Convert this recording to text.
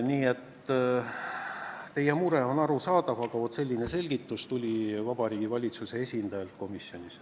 Nii et teie mure on arusaadav, aga selline selgitus tuli Vabariigi Valitsuse esindajalt komisjonis.